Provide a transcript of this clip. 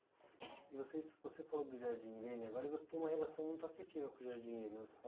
E vocês, você falou do Jardim Irene, agora e você tem uma relação muito afetiva com o Jardim Irene, você